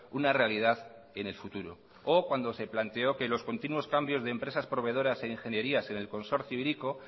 una realidad en el futuro o cuando se planteó que los continuos cambios de empresas proveedoras e ingenierías en el consorcio hiriko